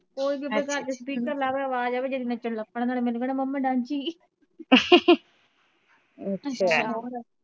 ਕੋਈ ਵੀ ਆਪਣੇ ਘਰ ਚ speaker ਲਾਵੇ ਆਵਾਜ਼ ਆਵੇ ਨੱਚਣ ਲੱਗ ਪੈਣਾ ਨਾਲੇ ਮੈਨੂੰ ਕਹਿਣਾ ਮੰਮੀ ਡਾਂਸੀ